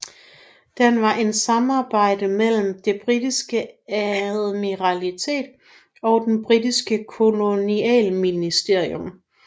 Den var en samarbejde mellem Det Britiske Admiralitet og Den Britiske Kolonialministerium